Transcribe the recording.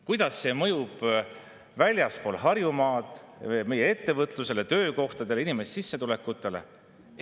Kuidas see mõjub väljaspool Harjumaad meie ettevõtlusele, töökohtadele ja inimeste sissetulekutele?